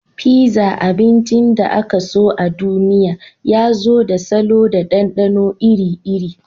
Pizza, abincin da ake so a duniya, ya zo da salo da ɗanɗano iri-iri.